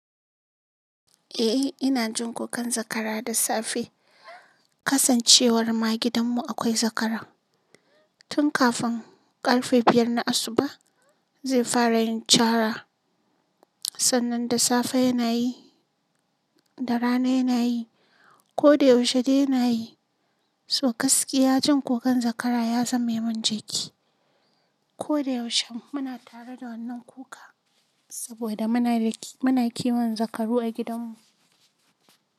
Eh ina jin kukan zakara da safe. Kasancewar ma gidanmu akwai zakara. Tun kafin karfe biyar na asuba zai fara yin cara. Sannan da safe yana yi, da rana yana yi, ko da yaushe dai yana yi. So gaskiya jin kukan zakara ya zame mun jiki. Ko da yaushe muna tare da wannan kuka saboda muna kiwon zakaru a gidanmu.